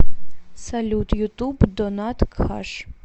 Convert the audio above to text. салют ютуб донат хаш